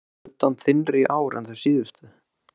Er buddan þynnri í ár en þau síðustu?